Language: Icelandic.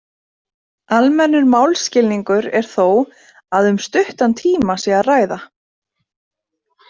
Almennur málskilningur er þó að um stuttan tíma sé að ræða.